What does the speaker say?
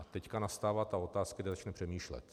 A teď nastává ta otázka, kdy začne přemýšlet.